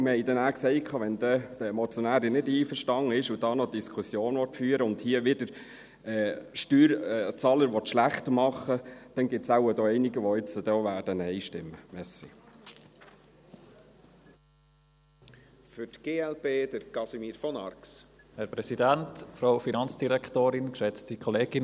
Wir haben nachher gesagt: Wenn die Motionärin damit nicht einverstanden ist und noch eine Diskussion führen und hier im Grossen Rat Steuerzahler wieder schlechtmachen will, dann gibt es hier wahrscheinlich auch einige, die jetzt Nein stimmen werden.